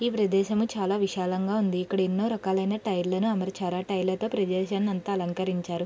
ఈ ప్రదేశము చాలా విశాలంగా ఉంది ఇక్కడ ఎన్నో రకాలైన టైర్ లను అమర్చారు ఆ టైర్ లతో ప్రదేశాన్ని అంతా అలంకరించారు.